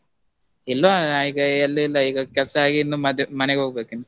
ಇಲ್ವಾ ನಾ ಈಗ ಎಲ್ಲಿ ಇಲ್ಲ, ಈಗ ಕೆಲ್ಸ ಆಗಿ ಇನ್ನು ಮದ್ವೆ, ಮನೆಗ್ ಹೋಗ್ಬೇಕಿನ್ನು.